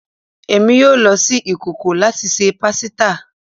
Emi yoo lo si ikoko lati ṣe pasita